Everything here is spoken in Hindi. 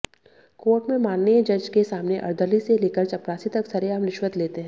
कोर्ट में माननीय जज के सामने अर्दली से लेकर चपरासी तक सरेआम रिश्वत लेते हैं